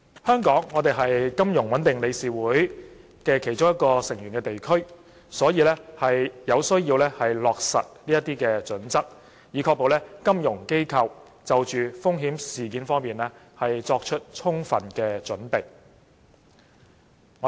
香港是金融穩定理事會的一個成員地區，有需要落實這些準則，以確保本港金融機構對有關風險作充分準備。